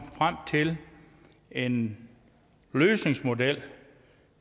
frem til en løsningsmodel